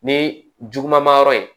Ni juguman yɔrɔ ye